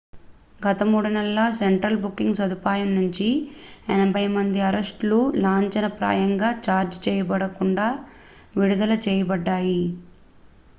గత 3 నెలల్లో central booking సదుపాయం నుంచి 80 మంది అరెస్ట్ లు లాంఛనప్రాయంగా ఛార్జ్ చేయబడకుండా విడుదల చేయబడ్డాయి